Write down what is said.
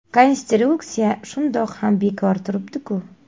Konstruksiya shundoq ham bekor turibdiku.